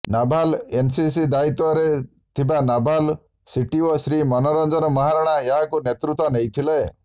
naval NCC ଦାୟିତ୍ବ ରେ ଥିବା ନାଭାଲ୍ ସିଟିଓ ଶ୍ରୀ ମନୋରଞ୍ଜନ ମହାରଣା ଏହାକୁ ନେତୃତ୍ବ ନେଇଥିଲେ